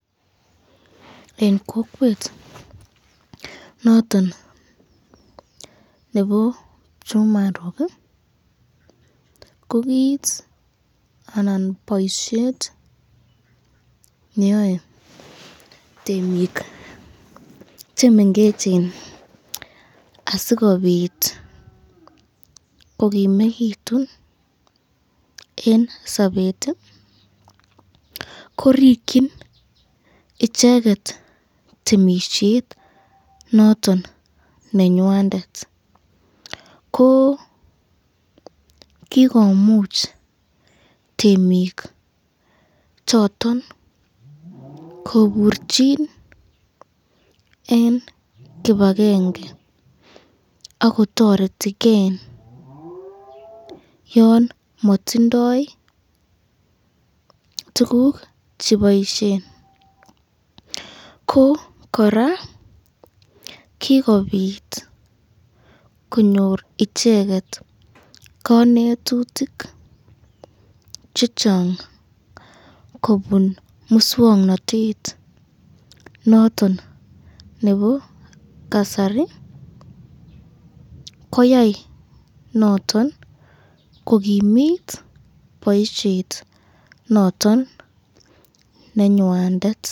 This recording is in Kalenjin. Eng kokwet noton nebo kipchumaruk kokit anan boisyet neyoe temik chemengechen asikobit kokimekitun eng sabet, ko rikyin icheket temisyet noton nenywsndet ,ko kikomuch temik choton koburchin eng kipakenge akotoretken yon matindo tukuk cheboisyen ko koraa kikobit konyor icheket kanetutuk chechang kobun muswoknotet noton nebo kasari koyai noton kokimit boisyet noton nenywandet.